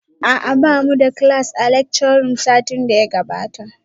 A'a bamu da class a lecture room satin da ya gabata